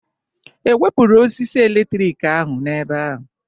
Ewepụrụ osisi eletrik ahụ n'ebe ahụ?